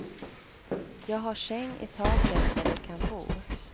Jag har säng i taket där de kan bo.